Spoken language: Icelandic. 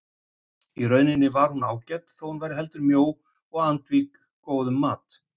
Í rauninni var hún ágæt þótt hún væri heldur mjó og andvíg góðum mat.